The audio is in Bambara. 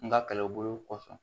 N ka kɛlɛw bolo kɔfɛ